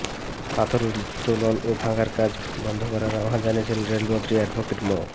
পাথর উত্তোলন ও ভাঙার কাজ বন্ধ করার আহ্বান জানিয়েছেন রেলপথমন্ত্রী অ্যাডভোকেট মো